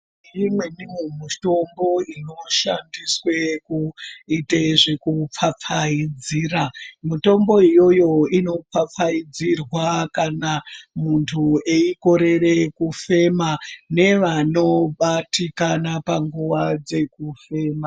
Imweniwo mutombo inoshandiswe kuite zvekupfapfaidzira. Mitombo iyoyo inopfapfaidzirwa kana muntu eikorere kufema nevanobatikana panguva dzekufema.